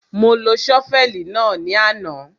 Mo lo ṣọ́fẹ̀lì náà ní àná.